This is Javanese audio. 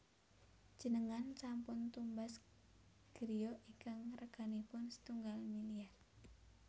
Njenengan sampun tumbas griya ingkang reganipun setunggal miliar